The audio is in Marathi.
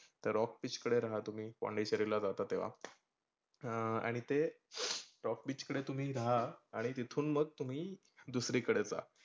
rock beach कडे रहा तुम्ही पोंडीचेरीला राहता तेव्हा. अं आणि ते rock beach तुम्ही रहा आणि तिथून मग तुम्ही दुसरी कडे जा.